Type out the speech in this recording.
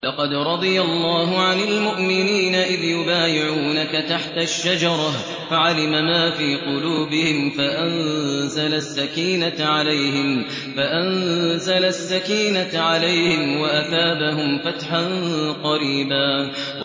۞ لَّقَدْ رَضِيَ اللَّهُ عَنِ الْمُؤْمِنِينَ إِذْ يُبَايِعُونَكَ تَحْتَ الشَّجَرَةِ فَعَلِمَ مَا فِي قُلُوبِهِمْ فَأَنزَلَ السَّكِينَةَ عَلَيْهِمْ وَأَثَابَهُمْ فَتْحًا قَرِيبًا